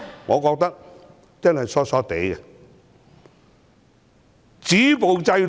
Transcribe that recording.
我覺得說這些話的人真的瘋了！